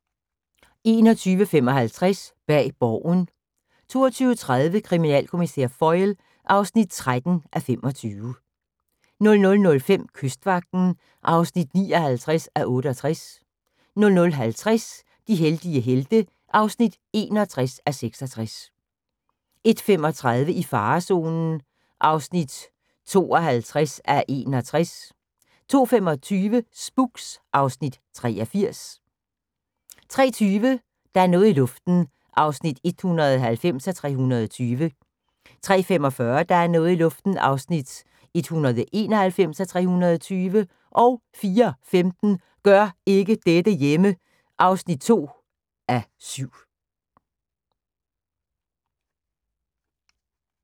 21:55: Bag Borgen 22:30: Kriminalkommissær Foyle (13:25) 00:05: Kystvagten (59:68) 00:50: De heldige helte (61:66) 01:35: I farezonen (52:61) 02:25: Spooks (Afs. 83) 03:20: Der er noget i luften (190:320) 03:45: Der er noget i luften (191:320) 04:15: Gør ikke dette hjemme! (2:7)